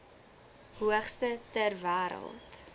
hoogste ter wêreld